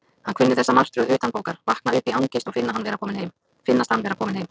Hann kunni þessa martröð utanbókar: vakna upp í angist og finnast hann vera kominn heim.